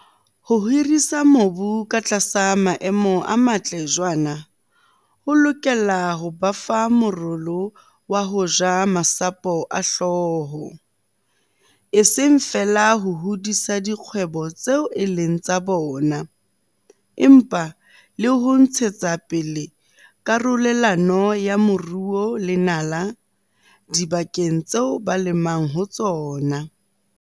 Ho hirisa mobu katlasa maemo a matle jwaana ho lokela ho ba fa morolo wa ho ja masapo a hlooho, e seng feela ho hodisa dikgwebo tseo e leng tsa bona empa le ho ntshetsapele karolelano ya moruo le nala dibakeng tseo ba lemang ho tsona.